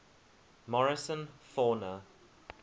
morrison fauna